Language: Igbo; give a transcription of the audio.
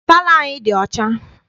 Palọ anyị dị ọcha.